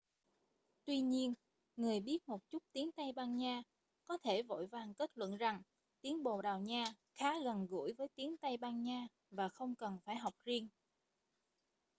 tuy nhiên người biết một chút tiếng tây ban nha có thể vội vàng kết luận rằng tiếng bồ đào nha khá gần gũi với tiếng tây ban nha và không cần phải học riêng